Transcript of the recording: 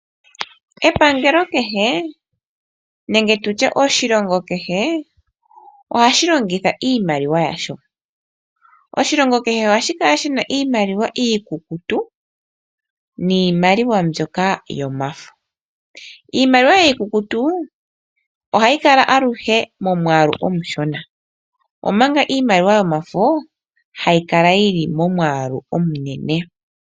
Epangelo kehe nenge oshilongo kehe ohashi longitha iimaliwa yasho. Oshilongo kehe ogashi longitha iimaliwa yomafo noshowo iikukutu. Iimaliwa yomafo ohayi kala aluhe momwaalu omushona omanga iimaliwa yomafo hayi kala yili momwaalu omunene.